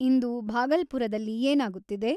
ಇಂದು ಭಾಗಲ್ಪುರದಲ್ಲಿ ಏನಾಗುತ್ತಿದೆ